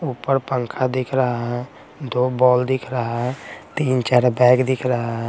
ऊपर पंखा दिख रहा है दो बॉल दिख रहा है तीन-चार बैग दिख रहा है।